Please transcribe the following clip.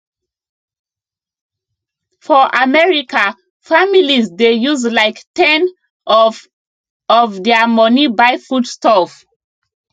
for america families dey use like ten of of their money buy foodstuff